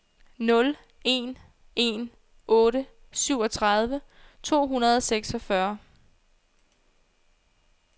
nul en en otte syvogtredive to hundrede og seksogfyrre